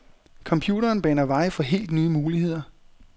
Computeren baner vej for helt nye muligheder.